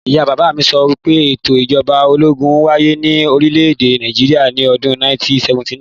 Ìyá bàbá mi sọ pé ètò Ìjọba ológun ń wáyé ní orílẹ̀-èdè Nàìjíríà ni ọdún 1979.